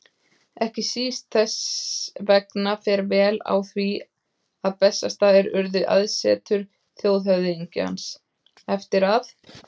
Ekki síst þess vegna fer vel á því að Bessastaðir urðu aðsetur þjóðhöfðingjans, eftir að